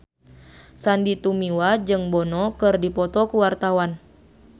Sandy Tumiwa jeung Bono keur dipoto ku wartawan